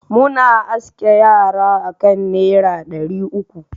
Muna askin yara akan naira dari uku.